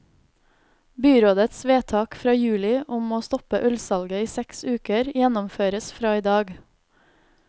Byrådets vedtak fra juli om å stoppe ølsalget i seks uker gjennomføres fra i dag.